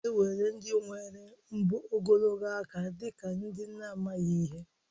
A na-ewere ndị nwere mbọ ogologo aka dị ka ndị na-amaghị ihe